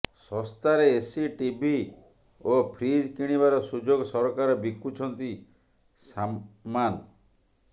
ଶସ୍ତାରେ AC TV ଓ fridge କିଣିବାର ସୁଯୋଗ ସରକାର ବିକୁଛନ୍ତି ସାମାନ